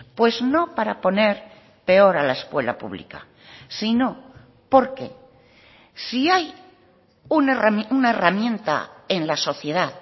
pues no para poner peor a la escuela pública sino porque si hay una herramienta en la sociedad